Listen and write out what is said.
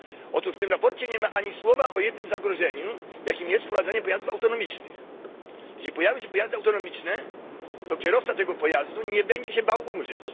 Otóż w tym sprawozdaniu nie ma ani słowa o jednym zagrożeniu, jakim jest wprowadzenie pojazdów autonomicznych. Jeżeli pojawią się pojazdy autonomiczne, to kierowca tego pojazdu nie będzie się bał umrzeć.